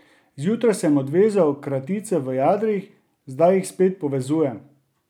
Zjutraj sem odvezal kratice v jadrih, zdaj jih spet povezujem.